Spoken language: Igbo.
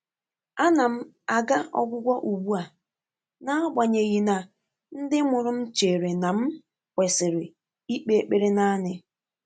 Ànà m àgà ọ́gwụ́gwọ́ ùgbú à, n’ágbànyéghị́ nà ndị́ mụ́rụ̀ m chèrè nà m kwèsị́rị́ íkpé ékpèré nāànị́.